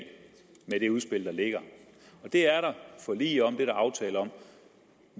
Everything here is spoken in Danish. med det udspil der ligger det er der forlig om der aftale om